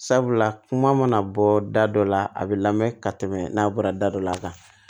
Sabula kuma mana bɔ da dɔ la a bɛ lamɛn ka tɛmɛ n'a bɔra da dɔ la kan